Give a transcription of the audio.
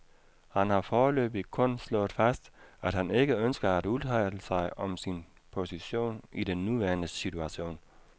Han har foreløbig kun slået fast, at han ikke ønsker at udtale sig om sin position i den nuværende situation.